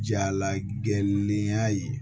Jala gɛnnenya ye